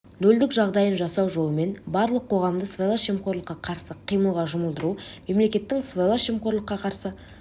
нөлдік жағдайын жасау жолымен барлық қоғамды сыбайлас жемқорлыққа қарсы қимылға жұмылдыру мемлекеттің сыбайлас жемқорлыққа қарсы